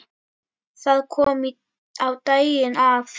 Það kom á daginn að